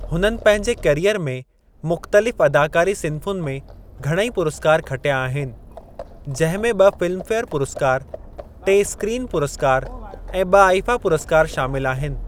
हुननि पंहिंजे करियर में मुख़्तलिफ़ अदाकारी सिन्फ़ुनि में घणेई पुरस्कार खटिया आहिनि , जिंहिं में ब॒ फिल्मफेयर पुरस्कार, टे स्क्रीन पुरस्कार ऐं ब॒ आईफा पुरस्कार शामिलु आहिनि।